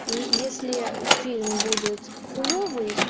если фильм будет хуевый